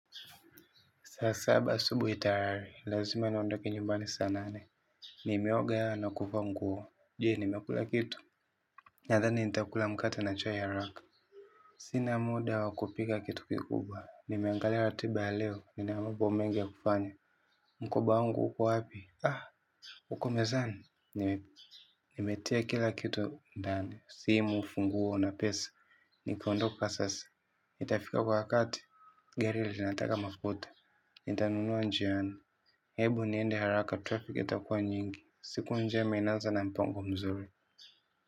Saa saba asubui tayari, lazima niondoke nyumbani saa nane. Nimeoga na kuvaa nguo, je nimekula kitu. Nadhani nitakula mkate na chai haraka. Sina muda wakupika kitu kikubwa, nimeangali ratiba ya leo, ninamambo mengi ya kufanya. Mkoba wangu uko hapi? Uko mezani? Nimetia kila kitu, ndani. Simu, funguo na pesa. Nikaondoka sasa, nitafika kwa wakati gari linataka mafuta. Nitanunua njiani. Hebu niende haraka traffic itakua nyingi. Siku njema inaza na mpango mzuri.